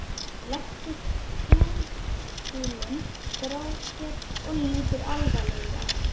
Hann leggur pendúlinn frá sér og lítur alvarlegur á mig.